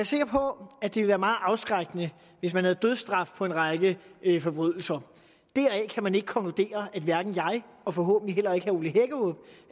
sikker på at det ville være meget afskrækkende hvis man havde dødsstraf for en række forbrydelser deraf kan man ikke konkludere at jeg og forhåbentlig heller